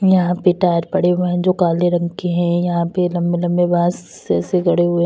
यहां पे टायर पड़े हुए हैं जो काले रंग के हैं यहां पे लंबे-लंबे बांस जैसे गड़े हुए --